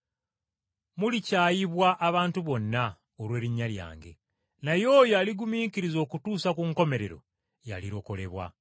Mulikyayibwa abantu bonna, olw’erinnya lyange, naye oyo aligumiikiriza okutuusa ku nkomerero y’alirokolebwa.”